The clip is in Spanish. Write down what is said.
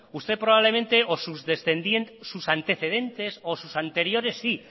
usted probablemente o sus antecedentes o sus anteriores sí